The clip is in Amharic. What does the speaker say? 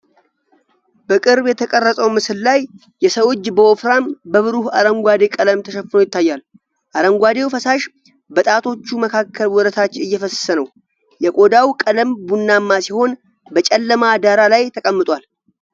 በቅርብ የተቀረጸው ምስል ላይ፣ የሰው እጅ በወፍራም፣ በብሩህ አረንጓዴ ቀለም ተሸፍኖ ይታያል። አረንጓዴው ፈሳሽ በጣቶቹ መካከል ወደ ታች እየፈሰሰ ነው። የቆዳው ቀለም ቡናማ ሲሆን በጨለማ ዳራ ላይ ተቀምጧል።